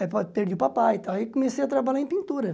Aí perdi o papai, e tal aí comecei a trabalhar em pintura.